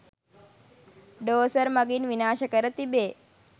ඩෝසර් මඟින් විනාශ කර තිබේ